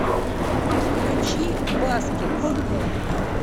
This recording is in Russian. включи баскетс